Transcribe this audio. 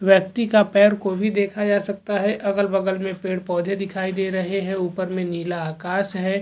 व्यक्ति का पैर को भी देखा जा सकता है अगल-बगल में पेड़-पौधे दिखाई दे रहे हैं ऊपर में नीला आकाश है।